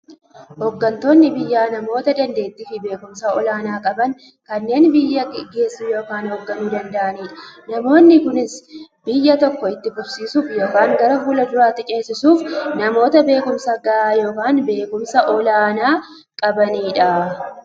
Hooggantoonni biyyaa namoota dandeettiifi beekumsa olaanaa qaban, kanneen biyya gaggeessuu yookiin hoogganuu danda'aniidha. Namoonni kunis, biyya tokko itti fufsiisuuf yookiin gara fuulduraatti ceesisuuf, namoota beekumsa gahaa yookiin beekumsa olaanaa qabaniidha.